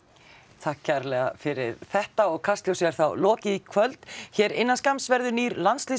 takk kærlega fyrir þetta og Kastljósi er þá lokið í kvöld hér innan skamms verður nýr